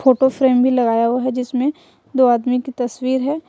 Photo frame भी लगाया हुआ है जिसमें दो आदमी की तस्वीर है।